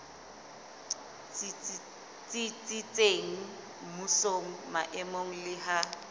tsitsitseng mmusong maemong le ha